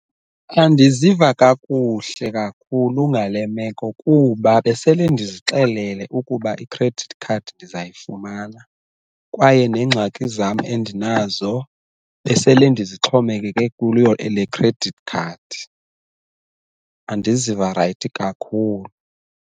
Andiziva kakuhle kakhulu ngale meko kuba besele ndizixelele ukuba i-credit card ndizayifumana, kwaye neengxaki zam endinazo besele ndizixhomekeke kuyo le credit card. Andiziva rayithi kakhulu.